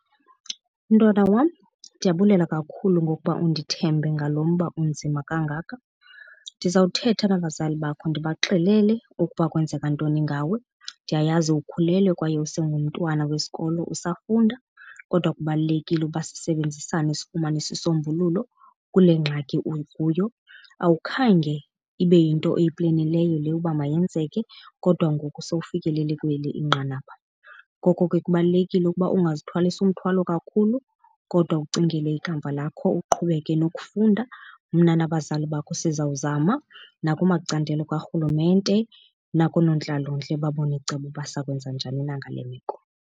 Mntwana wam, ndiyabulela kakhulu ngokuba undithembe ngalo mba unzima kangaka. Ndizawuthetha nabazali bakho ndibaxelele ukuba kwenzeka ntoni ngawe. Ndiyayazi ukhulelwe kwaye usengumntwana wesikolo usafunda kodwa kubalulekile uba sisebenzisane sifumane isisombululo kule ngxaki ukuyo. Awukhange ibe yinto oyiplenileyo le uba mayenzeke kodwa ngoku sewufikelele kweli inqanaba, ngoko ke kubalulekile ukuba ungazithwalisi umthwalo kakhulu kodwa ucingele ikamva lakho, uqhubeke nokufunda. Mna nabazali bakho sizawuzama nakumacandelo karhulumente nakoonontlalontle babone icebo uba siza kwenza njani na ngale meko.